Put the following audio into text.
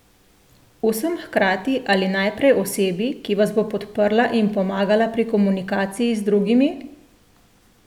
Vsem hkrati ali najprej osebi, ki vas bo podprla in pomagala pri komunikaciji z drugimi?